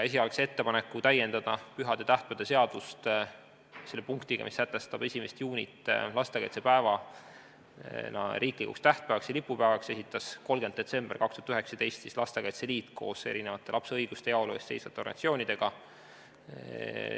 Esialgse ettepaneku täiendada pühade ja tähtpäevade seadust selle punktiga, mis sätestab 1. juuni lastekaitsepäevana riiklikuks tähtpäevaks ja lipupäevaks, esitas 30. detsembril 2019 Lastekaitse Liit koos erinevate lapse õiguste ja heaolu eest seisvate organisatsioonidega.